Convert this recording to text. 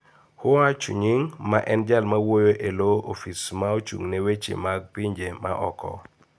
Hua Chunying, ma en Jal mawuoyo e lo ofis ma ochung'ne weche mag pinje ma oko